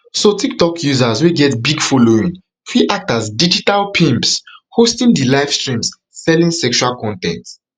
so tiktok users wey get big following fit act as digital pimps hosting di livestreams selling sexual con ten t